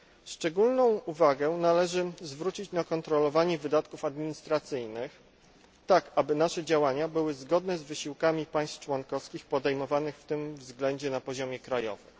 Szczególną uwagę należy zwrócić na kontrolowanie wydatków administracyjnych tak, aby nasze działania były zgodne z wysiłkami państw członkowskich podejmowanych w tym względzie na poziomie krajowym.